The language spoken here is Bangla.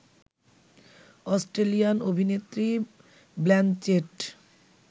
অস্ট্রেলিয়ান অভিনেত্রী ব্ল্যানচেট